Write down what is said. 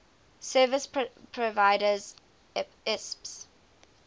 service providers isps